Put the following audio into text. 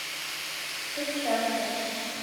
перчатка